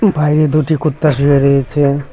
বাইরে দুটি কুত্তা শুয়ে রয়েছে।